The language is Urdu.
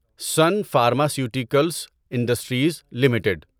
sun pharmaceuticals industries limited